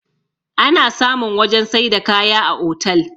ana samun wajen sai da kaya a otal